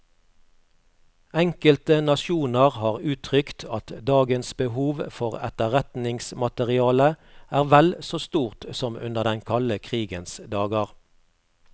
Enkelte nasjoner har uttrykt at dagens behov for etterretningsmateriale er vel så stort som under den kalde krigens dager.